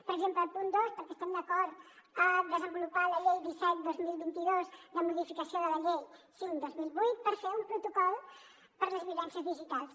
per exemple el punt dos perquè estem d’acord a desenvolupar la llei disset dos mil vint de modificació de la llei cinc dos mil vuit per fer un protocol per a les violències digitals